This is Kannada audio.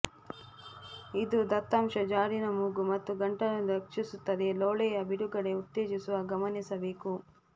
ಇದು ದತ್ತಾಂಶ ಜಾಡಿನ ಮೂಗು ಮತ್ತು ಗಂಟಲು ರಕ್ಷಿಸುತ್ತದೆ ಲೋಳೆಯ ಬಿಡುಗಡೆ ಉತ್ತೇಜಿಸುವ ಗಮನಿಸಬೇಕು